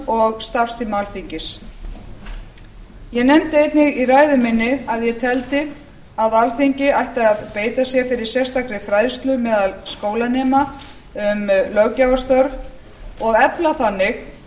og starfstíma alþingis ég nefndi einnig í ræðu minni að ég teldi að alþingi ætti að beita sér fyrir sérstakri fræðslu meðal skólanema um löggjafarstörf og efla þannig